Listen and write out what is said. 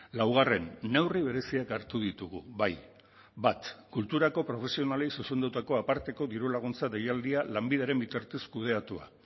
laugarren neurri bereziak hartu ditugu bai bat kulturako profesionalei zuzendutako aparteko dirulaguntza deialdia lanbideren bitartez kudeatua